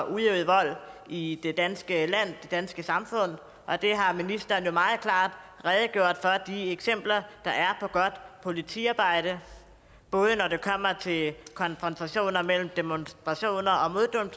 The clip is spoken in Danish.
udøvet vold i det danske land det danske samfund og ministeren har meget klart redegjort for de eksempler der er på godt politiarbejde både når det kommer til konfrontationer mellem demonstranter